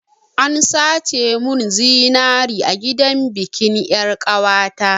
An sace mun zinari a gidan bikin yar'ƙawata.